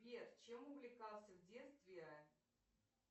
сбер чем увлекался в детстве